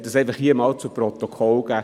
Ich möchte das hier zu Protokoll geben.